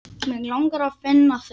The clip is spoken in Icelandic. Mig langar að finna þig.